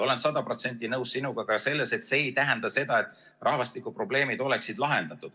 Olen sada protsenti nõus sinuga ka selles, et see ei tähenda seda, et rahvastikuprobleemid oleksid lahendatud.